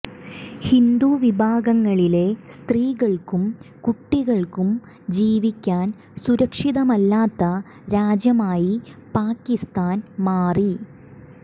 ഹിന്ദു വിഭാഗങ്ങളിലെ സ്ത്രീകൾക്കും കുട്ടികൾക്കും ജീവിക്കാൻ സുരക്ഷിതമല്ലാത്ത രാജ്യമായി പാകിസ്ഥാൻ മാറി